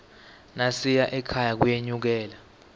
nasiya ekhaya kuyenyukela